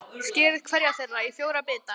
Skerið hverja þeirra í fjóra bita.